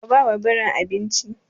Ka ba wa birin abinci!